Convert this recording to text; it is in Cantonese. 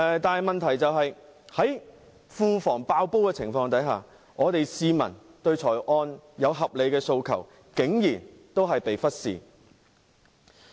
但問題是，在庫房"爆煲"的情況下，香港市民對預算案的合理訴求竟然仍被忽視。